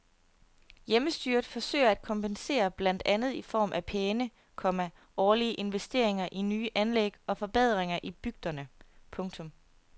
Hjemmestyret forsøger at kompensere blandt andet i form af pæne, komma årlige investeringer i nye anlæg og forbedringer i bygderne. punktum